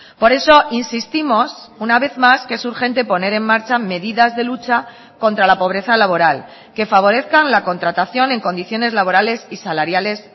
por eso insistimos una vez más que es urgente poner en marcha medidas de lucha contra la pobreza laboral que favorezcan la contratación en condiciones laborales y salariales